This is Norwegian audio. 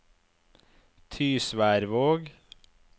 Tysværvåg